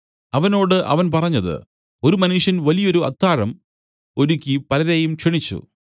അവനോട് അവൻ പറഞ്ഞത് ഒരു മനുഷ്യൻ വലിയൊരു അത്താഴം ഒരുക്കി പലരെയും ക്ഷണിച്ചു